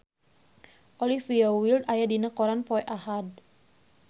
Olivia Wilde aya dina koran poe Ahad